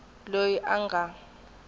loyi a nga ta va